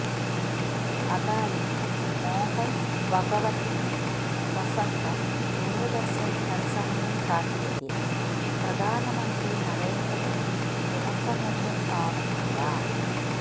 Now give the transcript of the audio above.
അതായത് മോഹൻ ഭഗവത്തിന്റെ പ്രസംഗം ദൂരദർശൻ തൽസമയം കാട്ടിയതിൽ പ്രധാനമന്ത്രി നരേന്ദ്ര മോദി കുഴപ്പമൊന്നും കാണുന്നില്ല